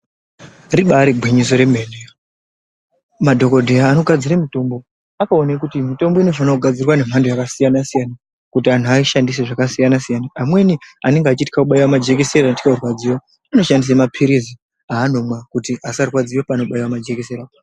Ribaari gwinyiso remene madhokodheya anogasire mitombo akaone kuti mitombo inofane kunagadzirwa nemhando yakasiyana siyana kuti anhu aishandise zvakasiyana siyana amweni anenge achitywa kubaiwa majekiseni anotywe kurwadziwa anoshandise mapirizi aanomwa kuti asarwadziwa paanobaiwa majekiseni.